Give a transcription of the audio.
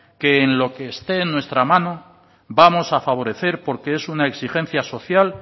que en lo que esté en nuestra mano vamos a favorecer porque es una exigencia social